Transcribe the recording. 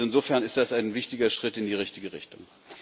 Also insofern ist das ein wichtiger Schritt in die richtige Richtung.